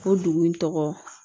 O dugu in tɔgɔ